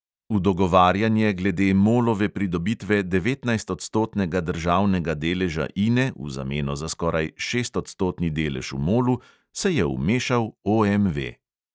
V dogovarjanje glede molove pridobitve devetnajstodstotnega državnega deleža ine v zameno za skoraj šestodstotni delež v molu se je vmešal OMV.